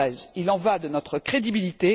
2013. Il y va de notre crédibilité.